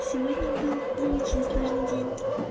сегодня был очень сложный день